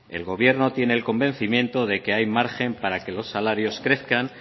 el gobierno tiene el convencimiento de que hay margen para que los salarios crezcan